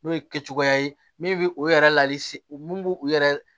N'o ye kɛ cogoya ye min bɛ o yɛrɛ lase min bɛ u yɛrɛ